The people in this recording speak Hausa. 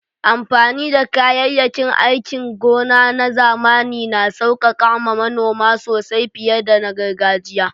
Amfani da kayayyakin aikin gona na zamani na sauƙaƙa ma manoma sosai fiye da na gargajiya.